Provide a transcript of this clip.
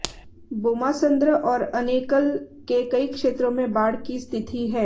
बोम्मासंद्र और अनेकल के कई क्षेत्रों में बाढ़ की स्थिति है